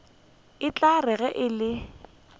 e tla re ge e